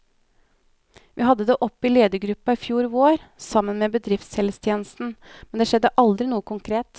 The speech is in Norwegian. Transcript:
Vi hadde det oppe i ledergruppen i fjor vår, sammen med bedriftshelsetjenesten, men det skjedde aldri noe konkret.